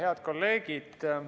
Head kolleegid!